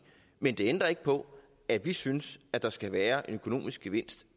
men det ændrer ikke på at vi synes at der skal være en økonomisk gevinst